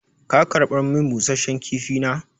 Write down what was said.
Ka karɓar min busashen kifi na?